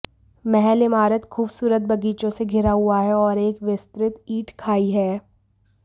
महल इमारत खूबसूरत बगीचों से घिरा हुआ है और एक विस्तृत ईंट खाई है